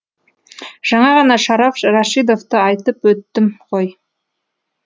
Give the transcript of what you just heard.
жаңа ғана шараф рашидовты айтып өттім ғой